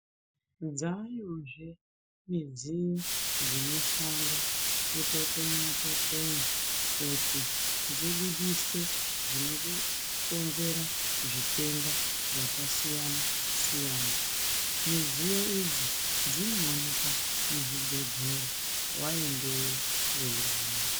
Dzayozve midziyo dzinoshanda kutokonywa tokonywa kuti dzibudise zvinokonzera zvitenda zvakasiyana siyana midziyo idzi dzinoonekwa muzvibhedhlera waendayo weirwara.